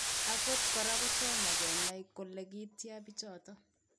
Angot kora kotomo. kenai kole kityaa pichotok